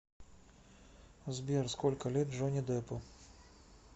сбер сколько лет джонни деппу